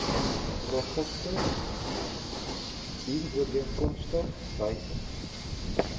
register dienooreenkomstig wysig